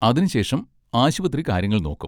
അതിനുശേഷം ആശുപത്രി കാര്യങ്ങൾ നോക്കും.